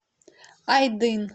айдын